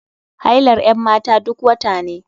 Hailar 'yan mata duk wata ne.